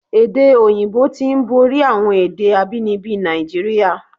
Èdè òyìnbó tí ń borí àwọn èdè abínibí Nàìjíríà.